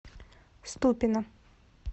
ступино